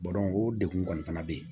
o degun kɔni fana bɛ yen